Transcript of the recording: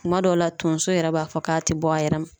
Kuma dɔw la tonso yɛrɛ b'a fɔ k'a te bɔ a yɛrɛ ma.